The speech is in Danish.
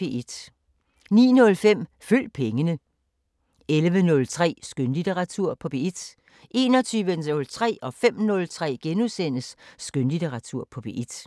09:05: Følg pengene 11:03: Skønlitteratur på P1 21:03: Skønlitteratur på P1 * 05:03: Skønlitteratur på P1 *